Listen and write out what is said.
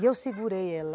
E eu segurei ela.